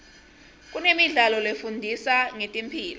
kunemidlalo lefundisa ngetemphilo